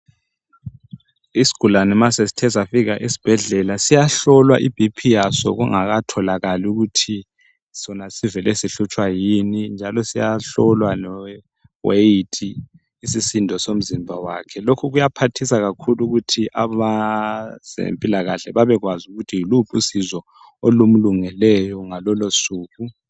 Isigulane ma sesithe safika esibhedlela, siyahlolwa iBP yaso kungakatholakali ukuthi sona sivele sihlutshwa yini Njalo siyahlolwa leweight, isisindo somzimba wakhe. Lokhu kuyaphathisa kakhulu, ukuthi abezempilakahle babekwazi ukuthi yiluphi usizo olumlungeleyo ngalolosuku.